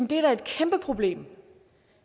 det er da et kæmpe problem